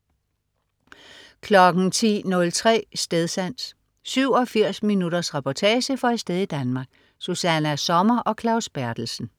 10.03 Stedsans. 87 minutters reportage fra et sted i Danmark. Susanna Sommer og Claus Berthelsen